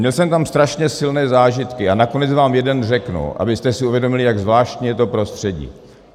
Měl jsem tak strašně silné zážitky a nakonec vám jeden řeknu, abyste si uvědomili, jak zvláštní je to prostředí.